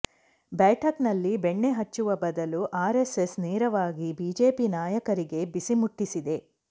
ಬೈಠಕ್ ನಲ್ಲಿ ಬೆಣ್ಣೆ ಹಚ್ಚುವ ಬದಲು ಆರ್ಎಸ್ಎಸ್ ನೇರವಾಗಿ ಬಿಜೆಪಿ ನಾಯಕರಿಗೆ ಬಿಸಿ ಮುಟ್ಟಿಸಿದೆ